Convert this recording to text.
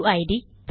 UID